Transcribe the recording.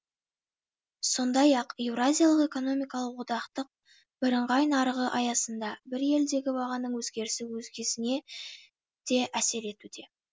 сондай ақ еуразиялық экономикалық одақтық бірыңғай нарығы аясында бір елдегі бағаның өзгерісі өзгесіне де әсер етуде